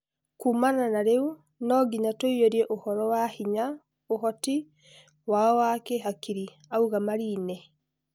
Kuuma na rĩu, nonginya tũĩyũrie ũhoro wa hinya (ũhoti) wao wa kĩhakiri," auga Marine.